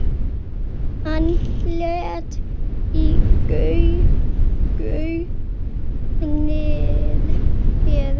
Hann leit í gaupnir sér.